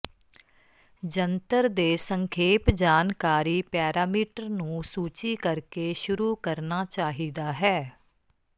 ਜੰਤਰ ਦੇ ਸੰਖੇਪ ਜਾਣਕਾਰੀ ਪੈਰਾਮੀਟਰ ਨੂੰ ਸੂਚੀ ਕਰਕੇ ਸ਼ੁਰੂ ਕਰਨਾ ਚਾਹੀਦਾ ਹੈ